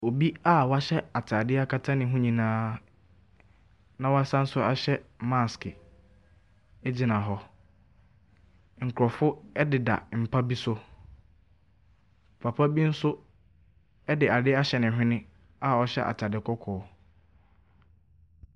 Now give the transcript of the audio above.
Obi a w'ahyɛ ataadeɛ akata ne ho nyinaa na wasanso ahyɛ mask egyina hɔ. Nkorɔfo ɛdeda mpa bi so. Papa bi so ɛde adeɛ ahyɛ ne hwene a ɔhyɛ ataade kɔkɔɔ.